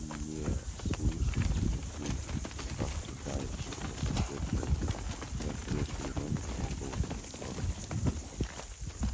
не слышать не слышу но как-то давит шепнул в ответ женька и от прежней иронии в его голосе не осталось и следа